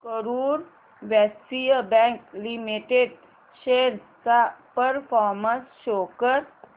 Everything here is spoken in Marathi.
Karur Vysya bank limited shares चा परफॉर्मन्स शो कर